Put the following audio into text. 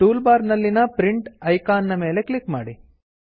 tool bar ನಲ್ಲಿನ print icon ನ ಮೇಲೆ ಕ್ಲಿಕ್ ಮಾಡಿ